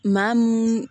Maa min